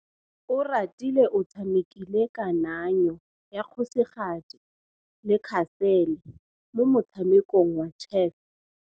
Oratile o tshamekile kananyô ya kgosigadi le khasêlê mo motshamekong wa chess.